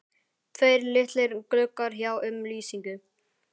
Tveir litlir gluggar sjá um lýsingu